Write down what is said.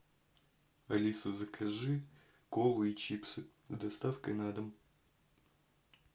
алиса закажи колу и чипсы с доставкой на дом